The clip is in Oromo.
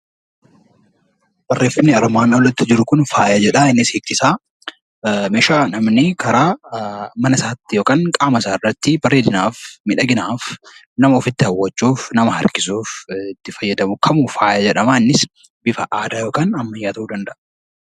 Barreeffamni armaan oliitti jiru kun faaya jedha. Innis hiikni isaa meeshaa namni karaa mana isaa yookiin qaama isaa irratti bareedinaaf, miidhaginaaf, nama ofitti hawwachuuf, nama harkisuuf fayyadamu hundisaa faaya jedhama. Innis bifa aadaa yookiin ammayyaa ta'uu ni danda’a.